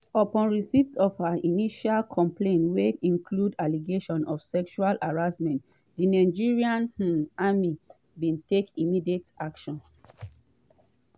“upon receipt of her initial complaint wey include allegations of sexual harassment di nigerian um army bin take immediate action.